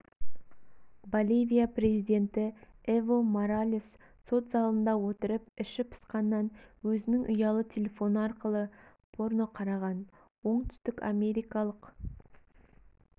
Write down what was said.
боливия президенті эво моралес сот залында отырып іші пысқаннан өзінің ұялы телефоны арқылы порно қараған оңтүстік америкалық